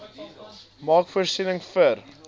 maak voorsiening vir